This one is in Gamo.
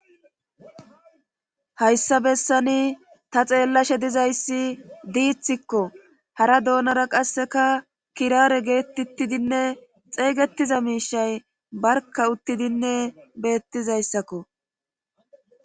Hayssa bessani ta xeellashe dizayssi diithikko hara doonara qasseka kiraare geettuttidinne xeeygetiza miishay barka uttidinne beettizayssakko.